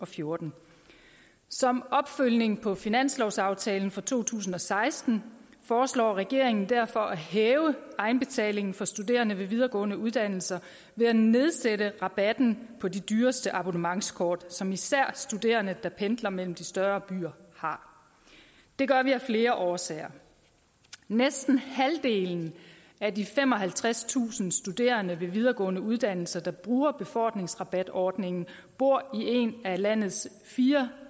fjorten som opfølgning på finanslovsaftalen for to tusind og seksten foreslår regeringen derfor at hæve egenbetalingen for studerende ved videregående uddannelser ved at nedsætte rabatten på de dyreste abonnementskort som især studerende der pendler mellem de større byer har det gør vi af flere årsager næsten halvdelen af de femoghalvtredstusind studerende ved videregående uddannelser der bruger befordringsrabatordningen bor i en af landets fire